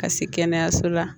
Ka se kɛnɛyaso la